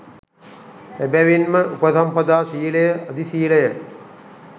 එබැවින්ම උපසම්පදා ශීලය අධිශීලය